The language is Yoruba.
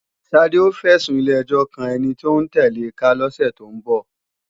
Ṣadé ó fẹ̀sùn ilé-ẹjọ́ kan ẹni tóún tẹ̀le ká lọ́sẹ̀ tó ń bọ̀